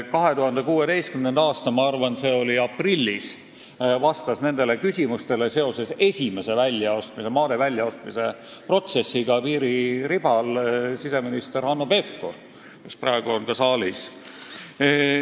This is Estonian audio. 2016. aastal – ma arvan, see oli aprillis – vastas nendele küsimustele seoses esimese piiririba jaoks maade väljaostmise protsessiga siseminister Hanno Pevkur, kes praegu on ka saalis.